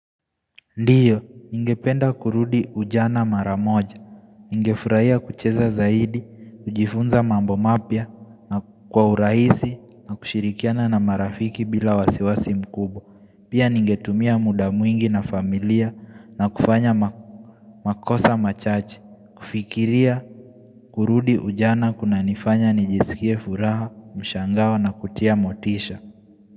Ndiyo, ningependa kurudi ujana mara moja. Ningefurahia kucheza zaidi, kujifunza mambo mapya na kwa urahisi na kushirikiana na marafiki bila wasiwasi mkubwa. Pia ningetumia muda mwingi na familia na kufanya makosa machache kufikiria, kurudi ujana kunanifanya nijisikie furaha, mshangao na kutia motisha.